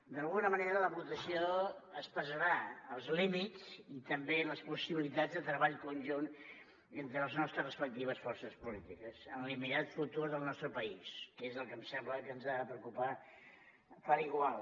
d’alguna manera la votació expressarà els límits i també les possibilitats de treball conjunt entre les nostres respectives forces polítiques en l’immediat futur del nostre país que és el que em sembla que ens ha de preocupar per igual